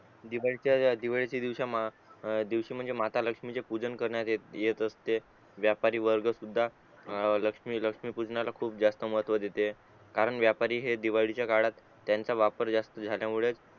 दिवाळीचा दिवाळीचा दिवशी म म्हणजे माता लक्ष्मीचे पूजन करनयेत येत असते आणि व्यापारी वर्ग सुद्धा आ लक्ष्मी लक्ष्मी पूजनाला खूप महत्व देते कारण व्यापारी हे दिवाळी चा काळात त्याचा वापर जास्त झाल्यामुळे